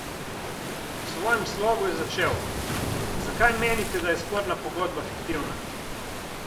V svojem slogu je začel: 'Zakaj, menite, da je sporna pogodba fiktivna?